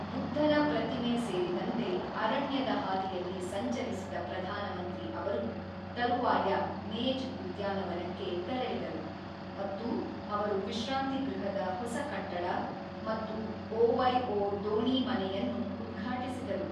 ಬುದ್ಧನ ಪ್ರತಿಮೆ ಸೇರಿದಂತೆ ಅರಣ್ಯದ ಹಾದಿಯಲ್ಲಿ ಸಂಚರಿಸಿದ ಪ್ರಧಾನಮಂತ್ರಿ ಅವರು ತರುವಾಯ ಮೇಜ್ ಉದ್ಯಾನವನಕ್ಕೆ ತೆರಳಿದರು ಮತ್ತು ಅವರು ವಿಶ್ರಾಂತಿ ಗೃಹದ ಹೊಸ ಕಟ್ಟಡ ಮತ್ತು ಒವೈಒ ದೋಣಿ ಮನೆಯನ್ನು ಉದ್ಘಾಟಿಸಿದರು.